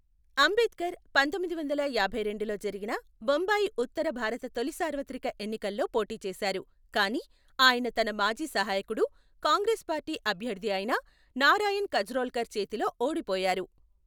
అంబేద్కర్ పందొమ్మిది వందల యాభైరెండులో జరిగిన బొంబాయి ఉత్తర భారత తొలి సార్వత్రిక ఎన్నికల్లో పోటీ చేశారు కానీ ఆయన తన మాజీ సహాయకుడు, కాంగ్రెస్ పార్టీ అభ్యర్థి అయిన నారాయణ్ కజ్రోల్కర్ చేతిలో ఓడిపోయారు.